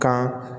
Kan